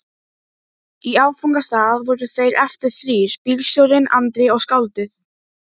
Í áfangastað voru þeir eftir þrír: bílstjórinn, Andri og skáldið.